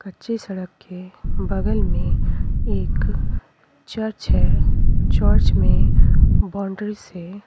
कच्ची सड़क के बगल में एक चर्च है चर्च में बाउंड्री से--